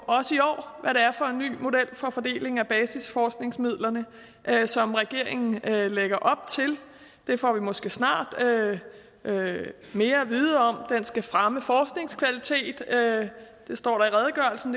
er er for en ny model for fordeling af basisforskningsmidlerne som regeringen lægger op til det får vi måske snart mere at vide om den skal fremme forskningskvalitet det står